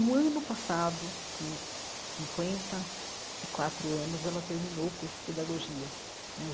No ano passado, com cinquenta e quatro anos, ela terminou o curso de pedagogia né.